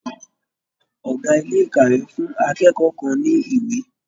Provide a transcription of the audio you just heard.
Ọ̀gá ilé-ìkàwé fún akẹ́kọ̀ọ́ kàn ní ìwé.